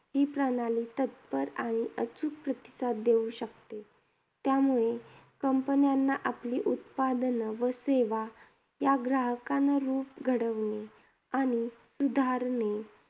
ही प्रणाली तत्पर आणि अचूक प्रतिसाद देऊ शकते. त्यामुळे companies ना आपली उत्पादनं व सेवा, या ग्राहकानुरूप घडवणे आणि सुधारणे